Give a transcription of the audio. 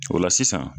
O la sisan